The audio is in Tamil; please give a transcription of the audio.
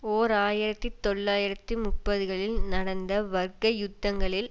ஓர் ஆயிரத்தி தொள்ளாயிரத்தி முப்பதுகளில் நடந்த வர்க்க யுத்தங்களில்